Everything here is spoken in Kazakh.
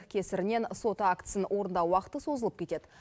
кесірінен сот актісін орындау уақыты созылып кетеді